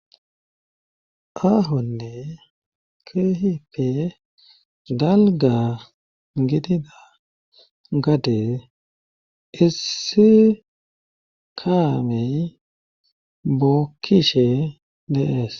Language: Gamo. Aahonne kehippe dalga ngitida ngate issikaamey bokishe lees.